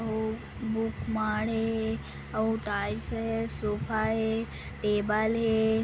ओ book माड़े है अउ टाइल्स हे सोफा हे टेबल हे।